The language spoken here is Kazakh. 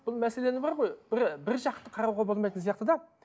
бұл мәселені бар ғой бір біржақты қарауға болмайтын сияқты да